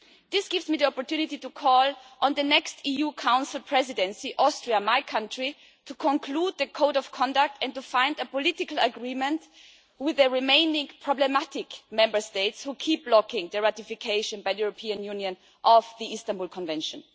This gives me the opportunity to call on the next EU Council Presidency, Austria my country to conclude the Code of Conduct and to find a political agreement with the remaining problematic Member States who keep blocking the ratification by the European Union of the Istanbul Convention.